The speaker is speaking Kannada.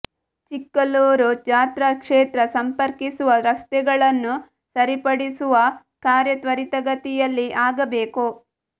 ಚಿಕ್ಕಲ್ಲೂರು ಜಾತ್ರಾ ಕ್ಷೇತ್ರ ಸಂಪರ್ಕಿ ಸುವ ರಸ್ತೆಗಳನ್ನು ಸರಿಪಡಿಸುವ ಕಾರ್ಯ ತ್ವರಿತಗತಿಯಲ್ಲಿ ಆಗಬೇಕು